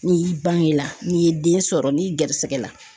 N'i yi bange la n'i ye den sɔrɔ n'i gɛrɛsɛgɛ la